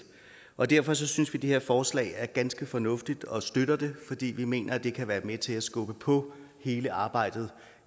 og derfor synes vi det her forslag er ganske fornuftigt og vi støtter det fordi vi mener at det kan være med til at skubbe på hele arbejdet